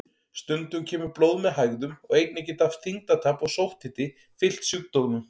Stundum kemur blóð með hægðum og einnig geta þyngdartap og sótthiti fylgt sjúkdómnum.